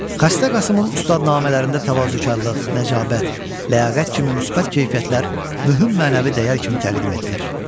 Xəstə Qasımın ustadnamələrində təvazökarlıq, nəcabət, ləyaqət kimi müsbət keyfiyyətlər mühüm mənəvi dəyər kimi təqdim edilir.